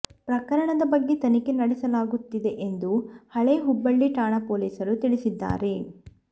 ಪ್ರಕರಣದ ಬಗ್ಗೆ ತನಿಖೆ ನಡೆಸಲಾಗುತ್ತಿದೆ ಎಂದು ಹಳೆ ಹುಬ್ಬಳ್ಳಿ ಠಾಣೆ ಪೊಲೀಸರು ತಿಳಿಸಿದ್ದಾರೆ